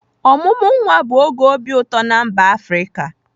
Ọmụmụ nwa bụ oge obi ụtọ na mba Afrịka.